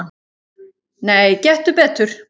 """Nei, gettu betur"""